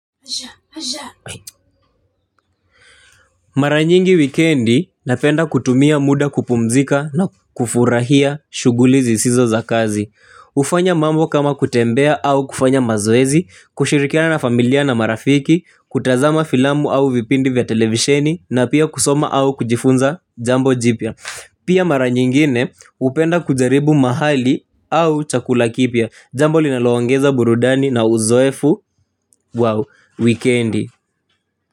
Mara nyingi wikendi napenda kutumia muda kupumzika na kufurahia shugulizi zisizo za kazi kufanya mambo kama kutembea au kufanya mazoezi, kushirikiana na familia na marafiki, kutazama filamu au vipindi vya televisheni na pia kusoma au kujifunza jambo jipya. Pia mara nyingine hupenda kujaribu mahali au chakula kipya, jambo linalo ongeza burudani na uzoefu, wow, wikendi.